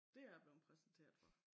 Dét er jeg blevet præsenteret for